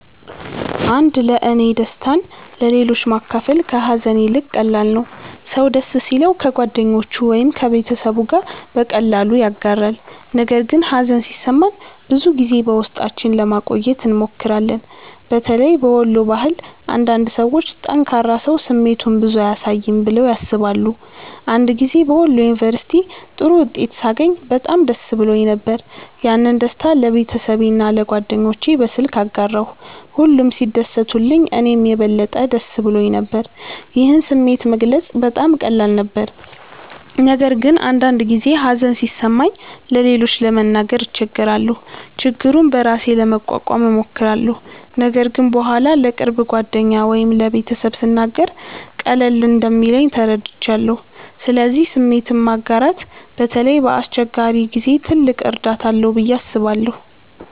1ለእኔ ደስታን ለሌሎች ማካፈል ከሀዘን ይልቅ ቀላል ነው። ሰው ደስ ሲለው ከጓደኞቹ ወይም ከቤተሰቡ ጋር በቀላሉ ያጋራል፣ ነገር ግን ሀዘን ሲሰማን ብዙ ጊዜ በውስጣችን ለማቆየት እንሞክራለን። በተለይ በወሎ ባህል አንዳንድ ሰዎች “ጠንካራ ሰው ስሜቱን ብዙ አያሳይም” ብለው ያስባሉ። አንድ ጊዜ በወሎ ዩንቨርስቲ ጥሩ ውጤት ሳገኝ በጣም ደስ ብሎኝ ነበር። ያንን ደስታ ለቤተሰቤና ለጓደኞቼ በስልክ አጋራሁ፣ ሁሉም ሲደሰቱልኝ እኔም የበለጠ ደስ ብሎኝ ነበር። ይህን ስሜት መግለጽ በጣም ቀላል ነበር። ነገር ግን አንዳንድ ጊዜ ሀዘን ሲሰማኝ ለሌሎች ለመናገር እቸገራለሁ። ችግሩን በራሴ ለመቋቋም እሞክራለሁ፣ ነገር ግን በኋላ ለቅርብ ጓደኛ ወይም ለቤተሰብ ስናገር ቀለል እንደሚለኝ ተረድቻለሁ። ስለዚህ ስሜትን ማጋራት በተለይ በአስቸጋሪ ጊዜ ትልቅ እርዳታ አለው ብዬ አስባለሁ።